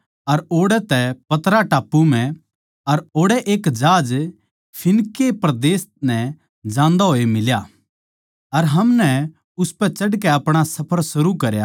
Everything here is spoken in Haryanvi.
ओड़ै एक जहाज फीनीके परदेस नै जान्दा होया फेट्या अर हमनै उसपै चढ़कै अपणा सफर शुरू करया